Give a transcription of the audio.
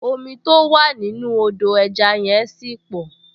Omi tó wà nínú Odò ẹja yẹn ṣì pọ̀